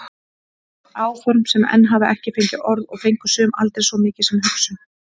Áform sem enn hafa ekki fengið orð og fengu sum aldrei svo mikið sem hugsun.